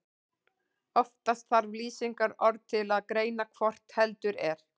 Oftast þarf lýsingarorð til að greina hvort heldur er.